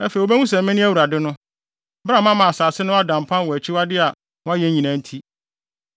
Afei wobehu sɛ mene Awurade no, bere a mama asase no ada mpan wɔ akyiwade a wɔayɛ nyinaa nti.’